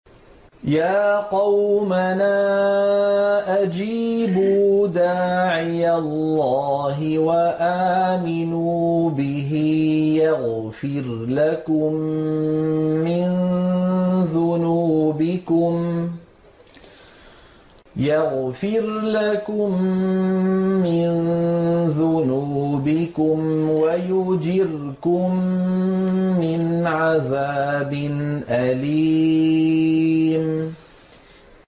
يَا قَوْمَنَا أَجِيبُوا دَاعِيَ اللَّهِ وَآمِنُوا بِهِ يَغْفِرْ لَكُم مِّن ذُنُوبِكُمْ وَيُجِرْكُم مِّنْ عَذَابٍ أَلِيمٍ